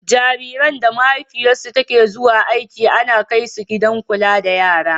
Jariran da mahaifiyarsu ke zuwa aiki ana kaisu gidan kula da yara.